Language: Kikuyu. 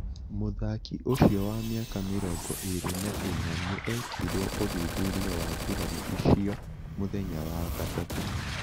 Mũthaki ucio wa miaka mĩrongo ĩrĩ na inya nĩ ekirwo ũthuthuria wa nguraro icio mũthenya wa gatatũ